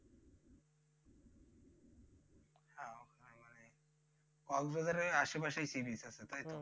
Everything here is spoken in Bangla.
কক্সবাজারের আশেপাশেই sea beach আছে তাইতো